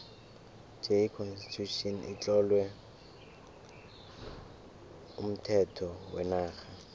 j constitution itlowe umthetho wenarha